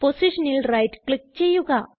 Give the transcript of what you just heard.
പൊസിഷനിൽ right click ചെയ്യുക